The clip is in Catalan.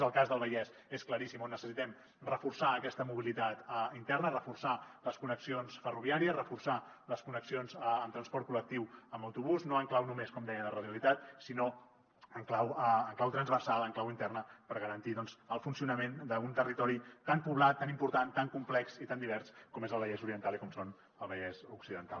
en el cas del vallès és claríssim on necessitem reforçar aquesta mobilitat interna reforçar les connexions ferroviàries reforçar les connexions en transport col·lectiu amb autobús no en clau només com deia de radialitat sinó en clau transversal en clau interna per garantir el funcionament d’un territori tan poblat tan important tan complex i tan divers com és el vallès oriental i com és el vallès occidental